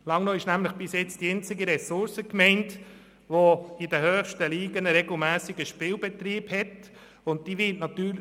Langnau ist nämlich bis jetzt die einzige Ressourcengemeinde, in der ein regelmässiger Spielbetrieb in den höchsten Ligen stattfindet.